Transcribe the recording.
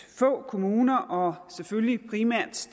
få kommuner og selvfølgelig primært